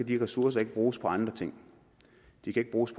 de ressourcer ikke bruges på andre ting de kan ikke bruges